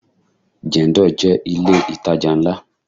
Jendol jẹ́ ilé itaja ńlá.